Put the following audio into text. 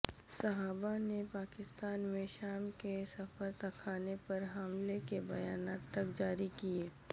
صحابہ نے پاکستان میں شام کے سفارتخانے پر حملے کے بیانات تک جاری کئیئ